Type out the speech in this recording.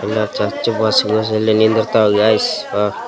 ಎಲ್ಲಾ church bus usually ನಿಂದಿರ್ತವ್ guys ಹಾ --